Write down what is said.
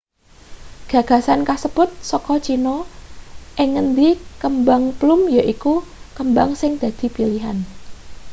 gagasan kasebut saka china ing ngendi kembang plum yaiku kembang sing dadi pilihan